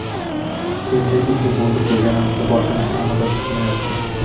Endi uyli bo‘ldik deganimizda, boshimiz ta’mirdan chiqmayapti.